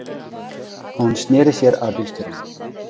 Hún sneri sér að bílstjóranum.